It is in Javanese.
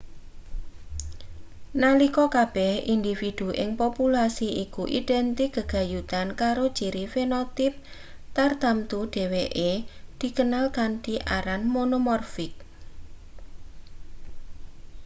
nalika kabeh individu ing populasi iku identik gegayutan karo ciri fenotipe tartamtu dheweke dikenal kanthi aran monomorfik